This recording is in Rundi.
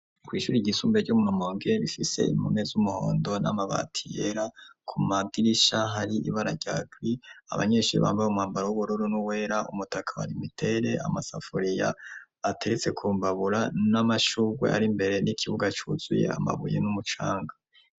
ku ishuri ryisumbuye ryo mu rumonge rifise impome z'umuhondo n'amabati yera, ku madirisha hari ibara rya gree, abanyeshuri bambaye umwambaro w'ubururu n'uwera, umutaka wa lumitel, amasafuriya ateretse kumbabura n'amashurwe ari imbere, n'ikibuga cuzuye amabuye n'umucanga.